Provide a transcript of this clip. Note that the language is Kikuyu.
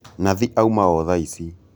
Nathi auma o thaici